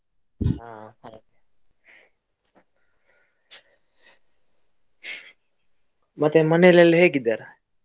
ಹಾ ಹಾಗೆ . ಮತ್ತೆ ಮನೆಯಲ್ಲೆಲ್ಲ ಹೇಗಿದ್ದಾರೆ?